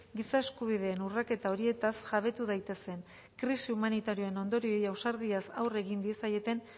giza eskubideen urraketa horietaz jabetu daitezen krisi humanitarioen ondorioei ausardiaz aurre egin diezaieten